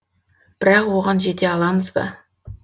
бірақ оған жете аламыз ба